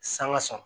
Sanga sɔn